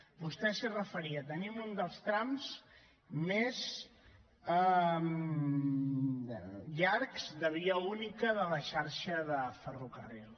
vostè s’hi referia tenim un dels trams més llargs de via única de la xarxa de ferrocarril